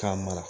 K'a mara